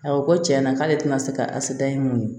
A ko tiɲɛyana k'ale tɛna se ka asida ye mun ye